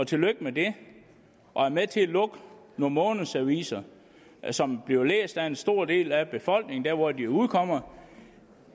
tillykke med det og er med til at lukke nogle månedsaviser som bliver læst af en stor del af befolkningen dér hvor de udkommer